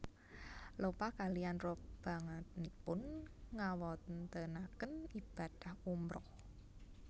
Lopa kaliyan robonganipun ngawontenaken ibadah umroh